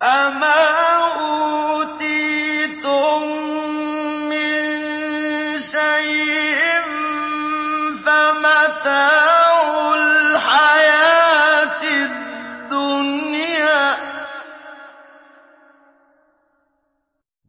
فَمَا أُوتِيتُم مِّن شَيْءٍ فَمَتَاعُ الْحَيَاةِ الدُّنْيَا ۖ